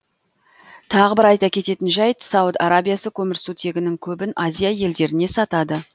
тағы бір айта кететін жайт сауд арабиясы көмірсутегінің көбін азия елдеріне сатады